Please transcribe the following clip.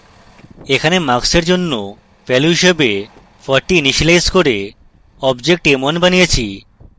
এখানে marks এর জন্য value হিসাবে 40 ইনিসিয়েলাইজ করে object m1 বানিয়েছি